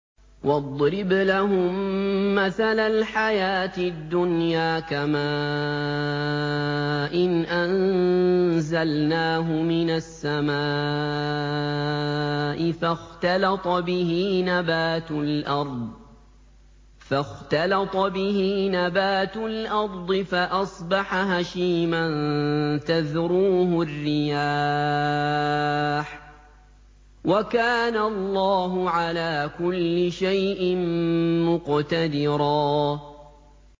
وَاضْرِبْ لَهُم مَّثَلَ الْحَيَاةِ الدُّنْيَا كَمَاءٍ أَنزَلْنَاهُ مِنَ السَّمَاءِ فَاخْتَلَطَ بِهِ نَبَاتُ الْأَرْضِ فَأَصْبَحَ هَشِيمًا تَذْرُوهُ الرِّيَاحُ ۗ وَكَانَ اللَّهُ عَلَىٰ كُلِّ شَيْءٍ مُّقْتَدِرًا